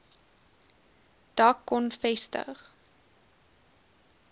dak kon vestig